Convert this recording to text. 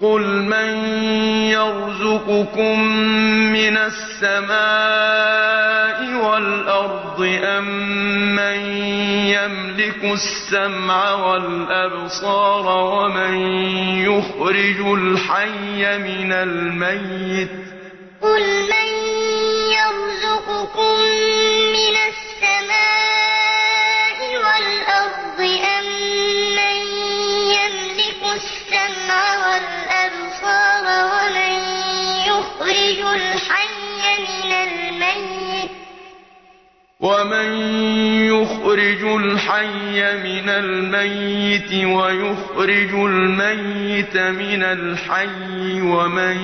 قُلْ مَن يَرْزُقُكُم مِّنَ السَّمَاءِ وَالْأَرْضِ أَمَّن يَمْلِكُ السَّمْعَ وَالْأَبْصَارَ وَمَن يُخْرِجُ الْحَيَّ مِنَ الْمَيِّتِ وَيُخْرِجُ الْمَيِّتَ مِنَ الْحَيِّ وَمَن